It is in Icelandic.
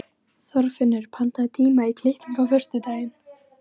Þorfinnur, pantaðu tíma í klippingu á föstudaginn.